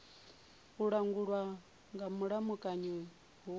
a langulwa nga mulamukanyi hu